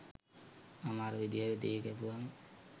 මම අර විදිහට දෙහි කැපුවම